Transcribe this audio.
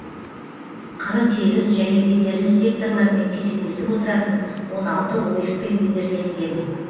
қыры тегіс және бедерлі секторлармен кезектесіп отыратын он алты ойықпен бедерленген